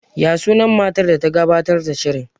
Ya sunan matar da ta gabatar da shirin?